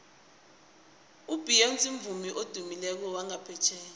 ubeyonce mvumi odumileko wangaphetjheya